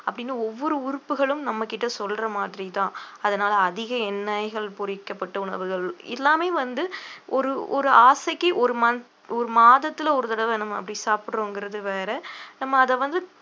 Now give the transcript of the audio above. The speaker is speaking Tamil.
அப்பிடின்னு ஒவ்வொரு உறுப்புகளும் நம்ம கிட்ட சொல்ற மாதிரி தான் அதனால அதிக எண்ணெய்கள் பொரிக்கப்பட்ட உணவுகள் எல்லாமே வந்து ஒரு ஒரு ஆசைக்கு ஒரு month ஒரு மாதத்துல ஒரு தடவை நம்ம அப்படி சாப்பிடுறோங்கிறது வேற நம்ம அத வந்து